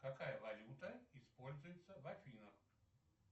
какая валюта используется в афинах